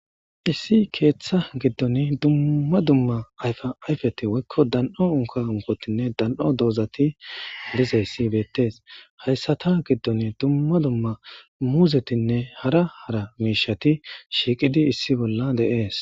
Issi keeththa giddon dumma dumma ayfa ayfeti woykko dan7o unka unkotinne dan7o doozati disayssi beettes hayssata giddon dumma dumma muuzetinne hara hara miishati shiiqidi issi bolla deees